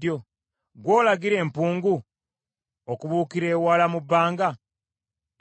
Ggwe olagira empungu okubuukira ewala mu bbanga,